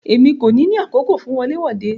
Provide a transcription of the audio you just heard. Emi ko ni ni àkókò fún wọle wode.